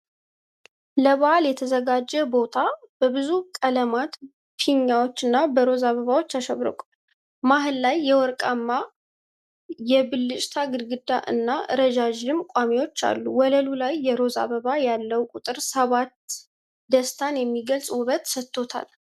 ለበዓል የተዘጋጀ ቦታ በብዙ ባለቀለም ፊኛዎችና በሮዝ አበባዎች አሸብርቋል። መሀል ላይ የወርቅማ የብልጭታ ግድግዳ እና ረዣዥም ማቆሚያዎች አሉ። ወለሉ ላይ የሮዝ አበባ ያለው ቁጥር ሰባት ደስታን የሚገልጽ ውበት ሰጥቷል።